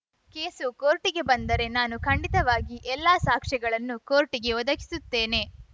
case ಕೋರ್ಟಿಗೆ ಬಂದರೆ ನಾನು ಖಂಡಿತವಾಗಿಯೂ ಎಲ್ಲಾ ಸಾಕ್ಷ್ಯಗಳನ್ನೂ ಕೋರ್ಟಿಗೆ ಒದಗಿಸುತ್ತೇನೆ